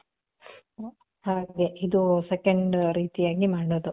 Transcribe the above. ಹಾಗೆ ಇದು second ರೀತಿಯಾಗಿ ಮಾಡೋದು.